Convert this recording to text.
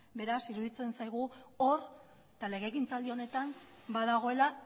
beraz iruditzen zaigu hor eta legegintzaldi honetan badagoela